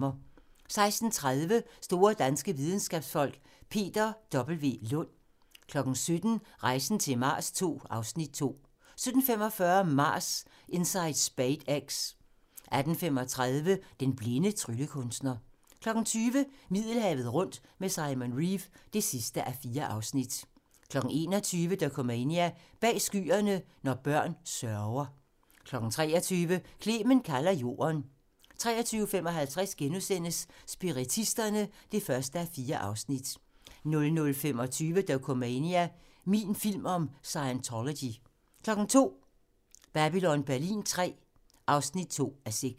16:30: Store danske videnskabsfolk: Peter W. Lund 17:00: Rejsen til Mars II (Afs. 2) 17:45: Mars: Inside SpaceX 18:35: Den blinde tryllekunstner 20:00: Middelhavet rundt med Simon Reeve (4:4) 21:00: Dokumania: Bag Skyerne – når børn sørger 23:00: Clement kalder Jorden 23:55: Spiritisterne (1:4)* 00:25: Dokumania: Min film om Scientology 02:00: Babylon Berlin III (2:6)